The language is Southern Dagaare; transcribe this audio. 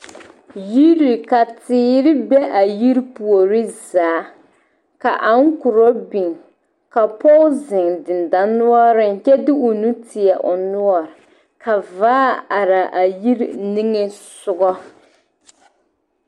Yiri ka teere be a yiri puori zaa ka ankorɔ biŋ ka pɔge zeŋ dendɔnoɔreŋ kyɛ de o nu teɛ o noɔre ka vaa are a yiri niŋesogɔ.